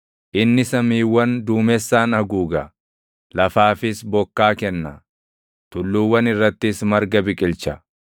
Inni samiiwwani duumessaan haguuga; lafaafis bokkaa kenna; tulluuwwan irrattis marga biqilcha.